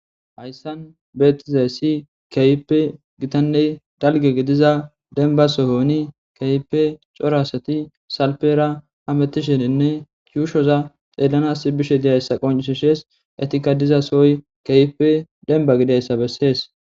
Hayssan bettizaysi kehipe giittanne dallgga giidiza dembba sohon kehippe cora asati salppera hamitishshenine yuushoza xellanas bishshe dizayssa qonccises eetika diiza sohoy kehippe dembba gididdayssa besses.